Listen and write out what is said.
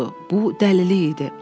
Bu dəlili idi.